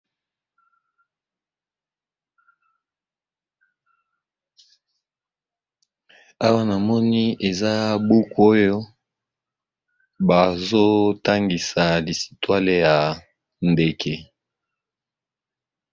Awa, namoni eza buku oyo ba zotangisa lisitwale ya ndeke !